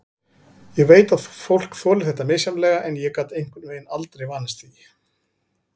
Ég veit að fólk þolir þetta misjafnlega en ég gat einhvern veginn aldrei vanist því.